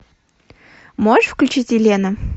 можешь включить елена